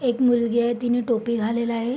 एक मुलगी आहे तिने टोपी घालेल आहे.